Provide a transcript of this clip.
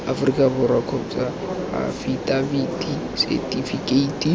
aforika borwa kgotsa afitafiti setifikeiti